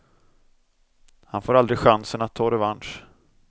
Han får aldrig chansen att ta revansch.